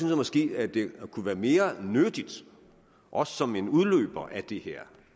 jeg måske at det kunne være mere nyttigt også som en udløber af det her